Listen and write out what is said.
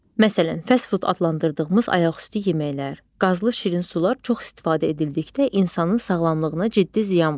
Məsələn, fast food adlandırdığımız ayaqüstü yeməklər, qazlı şirin sular çox istifadə edildikdə insanın sağlamlığına ciddi ziyan vurur.